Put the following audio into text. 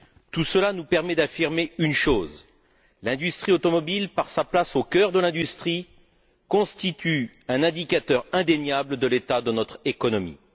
Tout cela nous permet d'affirmer une chose l'industrie automobile, par sa place au cœur de l'industrie, constitue un indicateur indéniable de l'état de notre économie.